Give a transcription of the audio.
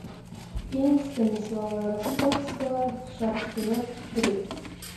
фильм станислава ростоцкого шаг вперед три